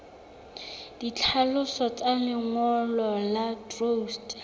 ditlhaloso tsa lengolo la truste